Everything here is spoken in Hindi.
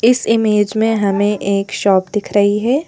इस इमेज में हमें एक शॉप दिख रही है।